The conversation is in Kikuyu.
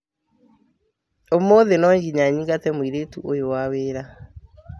Ũmũthĩ no nginya nyingate mũrũti ũyũwa wĩra